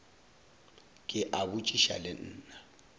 ke a botšiša le nna